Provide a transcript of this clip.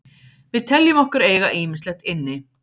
Við teljum okkur eiga ýmislegt inni.